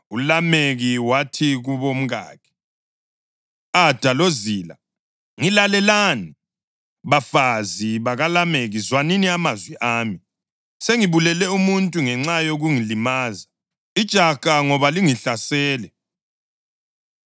ULameki wathi kubomkakhe, “Ada loZila, ngilalelani; bafazi bakaLameki, zwanini amazwi ami. Sengibulele umuntu ngenxa yokungilimaza, ijaha ngoba lingihlasele.